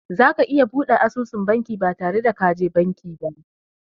Za ka iya buɗe asusun banki ba tare da ka je banki ba.